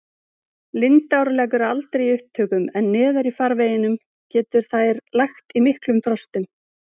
Lindár leggur aldrei í upptökum en neðar í farveginum getur þær lagt í miklum frostum.